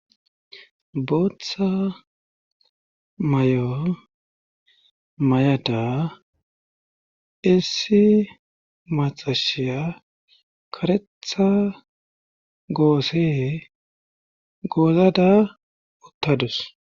bootha may'o mayiada issi maxashiya karetha goose goozada uttadus.